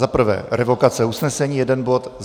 Za prvé, revokace usnesení, jeden bod.